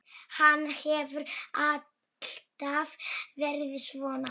Hann hefur alltaf verið svona.